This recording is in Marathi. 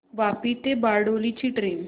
वापी ते बारडोली ची ट्रेन